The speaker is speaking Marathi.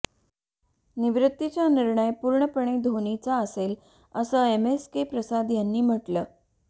निवृत्तीचा निर्णय पूर्णपणे धोनीचा असेल असं एमएसके प्रसाद यांनी म्हटलं